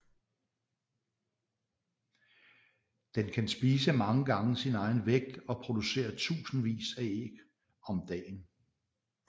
Den kan spise mange gange sin egen vægt og producere tusindvis af æg om dagen